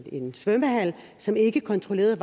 en svømmehal som ikke kontrollerede